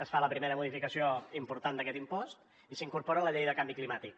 es fa la primera modificació important d’aquest impost i s’incorpora a la llei de canvi climàtic